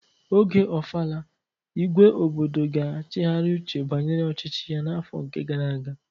Oge ofala, igwe obodo ga-achighari uche banyere ọchịchị ya n'afọ nke gara aga